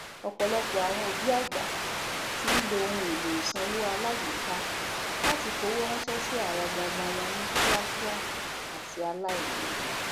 ọpọlọpọ àwon òbí àgbà tí ń lo ohunèlò ìsanwó alágbéka láti fowóránsẹ sí àwọn ọmọọmọ wọn ní kíákíá àti aláìléwu